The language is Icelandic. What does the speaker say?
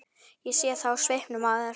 Ég sé það á svipnum á þér.